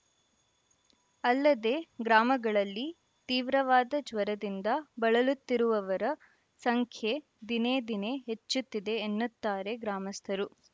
ಅಲ್ಲದೆ ಗ್ರಾಮಗಳಲ್ಲಿ ತೀವ್ರವಾದ ಜ್ವರದಿಂದ ಬಳಲುತ್ತಿರುವವರ ಸಂಖ್ಯೆ ದಿನೆ ದಿನೇ ಹೆಚ್ಚುತ್ತಿದೆ ಎನ್ನುತ್ತಾರೆ ಗ್ರಾಮಸ್ಥರು